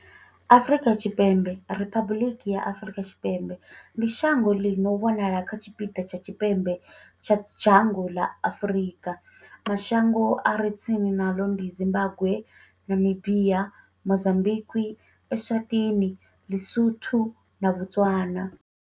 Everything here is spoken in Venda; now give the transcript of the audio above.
Afrika Tshipembe, Riphabuḽiki ya Afrika Tshipembe, ndi shango ḽi no wanala kha tshipiḓa tsha tshipembe tsha dzhango ḽa Afuika. Mashango a re tsini naḽo ndi Zimbagwe, Namibia, Mozambikwi, Eswatini, LiSotho na Botswana.